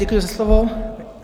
Děkuji za slovo.